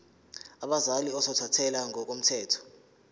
abazali ozothathele ngokomthetho